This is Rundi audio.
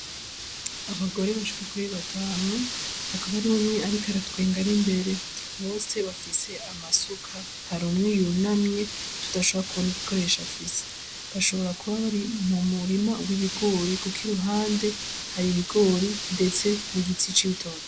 Abagore bashika kuri batanu hakaba ari mumwe ariko aratwenga ari imbere, bose bafise amasuka hari umwe yunamwe tutashobora kubona igikoresho afise bashobora kuba bari mu murima w'ibigori kuko iruhande hari ibigori, ndetse n'igiti c'ibitoki.